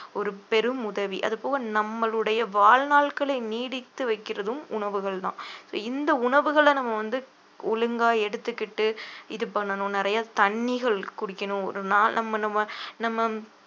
ஓரு பெரும் உதவி அது போக நம்மளுடைய வாழ்நாள்களை நீடித்து வைக்கிறதும் உணவுகள்தான் இந்த உணவுகளை நம்ம வந்து ஒழுங்கா எடுத்துக்கிட்டு இது பண்ணணும் நிறைய தண்ணிகள் குடிக்கணும் ஒரு நாள் நம்ம நம்ம நம்ம